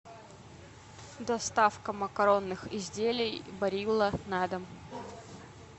доставка макаронных изделий барилла на дом